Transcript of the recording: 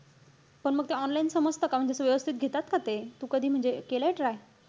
पण मग ते online समजत का? म्हणजे असं व्यवस्थित घेतात का ते? तू कधी म्हणजे केलाय try?